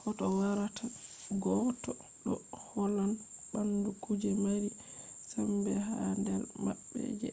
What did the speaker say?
hoto warata gotta ɗo hollan ɓandu kuje mari sembe ha nder maɓɓe je